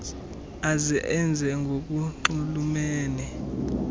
aze enze ngokunxulumene